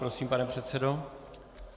Prosím, pane předsedo.